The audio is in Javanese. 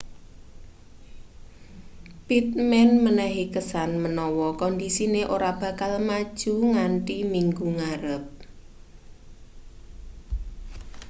pittman menehi kesan menawa kondisine ora bakal maju nganthi minggu ngarep